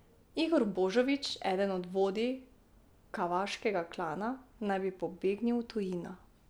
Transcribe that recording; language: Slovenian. Igor Božović, eden od vodij Kavaškega klana, naj bi pobegnil v tujino.